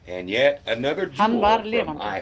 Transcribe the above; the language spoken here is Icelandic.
Hann var lifandi!